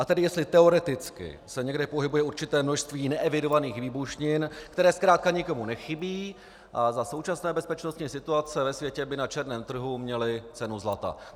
A tedy jestli teoreticky se někde pohybuje určité množství neevidovaných výbušnin, které zkrátka nikomu nechybí a za současné bezpečnostní situace ve světě by na černém trhu měly cenu zlata.